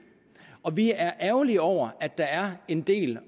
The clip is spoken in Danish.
og vi er ærgerlige over at der er en del